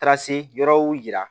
Taa se yɔrɔw yira